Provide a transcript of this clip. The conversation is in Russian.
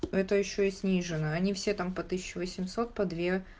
это ещё и снижена они все там по тысяча восемьсот по две